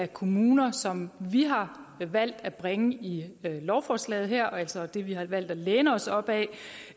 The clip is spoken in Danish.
kommuner som vi har valgt at bringe i lovforslaget her og altså det vi har valgt at læne os op ad